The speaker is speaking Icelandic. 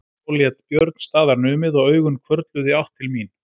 Þá lét Björn staðar numið og augun hvörfluðu í átt til mín.